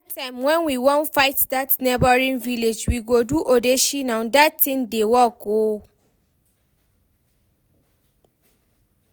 Dat time when we wan fight dat neigbouring village, we go do odeshi nah, dat thing dey work oo